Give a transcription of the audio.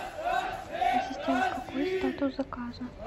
ассистент какой статус заказа